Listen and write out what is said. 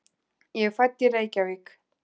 Ég er fædd í Reykjavík.